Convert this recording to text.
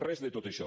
res de tot això